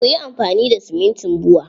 Kuyi amfani da siminti buwa!